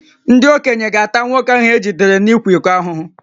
Ndị okenye ga-ata nwoke ahụ e jidere n’ịkwa iko